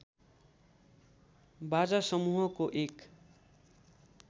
बाजा समूहको एक